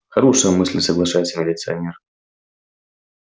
хорошая мысль соглашается милиционер